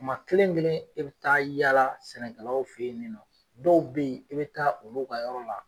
kuma kelen kelen e be taa yala sɛnɛkɛlaw fe yen ni nɔ, dɔw be yen i be taa olu ka yɔrɔ la?